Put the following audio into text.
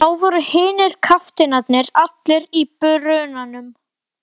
Þá voru hinir kafteinarnir allir í brunanum.